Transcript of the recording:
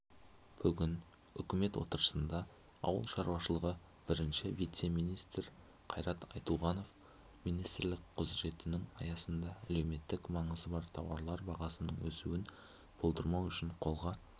бүгін үкімет отырысында ауыл шаруашылығы бірінші вице-министрі қайрат айтуғанов министрлік құзыретінің аясында әлеуметтік маңызы бар тауарлар бағасының өсуін болдырмау үшін қолға